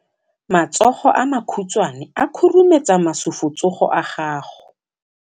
Matsogo a makhutshwane a khurumetsa masufutsogo a gago.